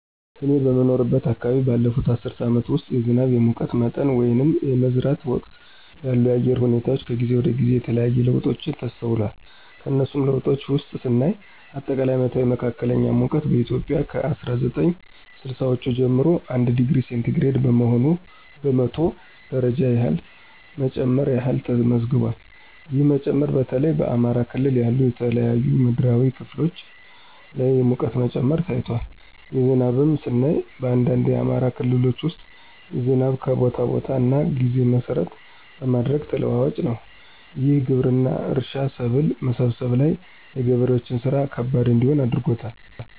እኔ በምኖርበት አከባቢ ባለፉት አስርት አመታት ውስጥ የዝናብ፣ የሙቀት መጠን ወይንም የመዝራት ወቅት ያሉ የአየር ሁኔታወች ከጊዜ ወደ ጊዜ የተለያየ ለውጦች ተስተውሏል። ከነሱም ለውጦች ውስጥ ስናይ አጠቃላይ አመታዊ መካከለኛ ሙቀት በኢትዮጵያ ከ አስራ ዘጠኝ ስልሳወቹ ጀምሮ 1°c በመቶ ደረጃ ያህል መጨመር ያህል ተመዝግቧል። ይህ መጨመር በተለይ በአማራ ክልል ያሉ የተለያዩ ምድራዊ ክፍሎች ላይ የሙቀት መጨመር ታይቷል። ዝናብንም ስናይ በአንዳንድ የአማራ ክልሎች ውስጥ ዝናብ ከቦታ ቦታ እና ጊዜ መሰረት በማድረግ ተለዋዋጭ ነው። ይህም ግብርና፣ እርሻ፣ ሰብል መሰብሰብ ላይ የገበሬዎችን ስራ ከባድ እንዲሆን አድርጎባቸዋል።